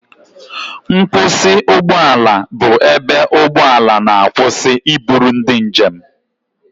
Nkwusị ụgbọ ala bụ ebe ụgbọ ala na-akwụsị iburu ndị njem.